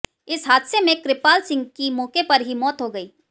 इस हादसे में कृपाल सिंह की मौके पर ही मौत हो गई